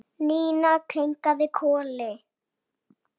Ína kinkaði kolli.